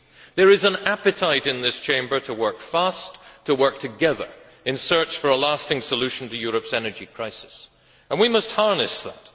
There is an appetite in this Chamber to work fast, to work together, in search of a lasting solution to Europe's energy crisis, and we must harness that.